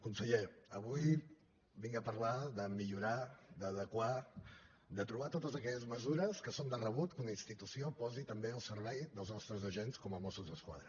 conseller avui vinc a parlar de millorar d’adequar de trobar totes aquelles mesures que són de rebut que una institució posi també al servei dels nostres agents com a mossos d’esquadra